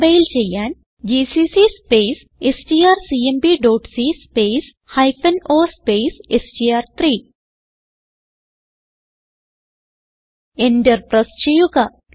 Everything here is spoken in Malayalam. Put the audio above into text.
കംപൈൽ ചെയ്യാൻ ജിസിസി സ്പേസ് strcmpസി സ്പേസ് ഹൈഫൻ o സ്പേസ് എസ്ടിആർ3 എന്റർ പ്രസ് ചെയ്യുക